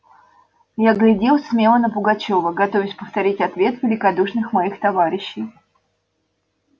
я глядел смело на пугачёва готовясь повторить ответ великодушных моих товарищей